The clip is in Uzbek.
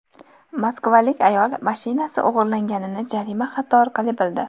Moskvalik ayol mashinasi o‘g‘irlanganini jarima xati orqali bildi.